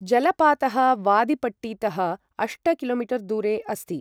जलपातः वादिपट्टीतः अष्ट कि.मी दूरे अस्ति ।